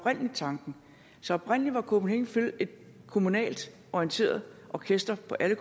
tanken så oprindelig var copenhagen phil et kommunalt orienteret orkester for alle